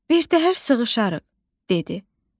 Birtəhər sığışarıq, dedi.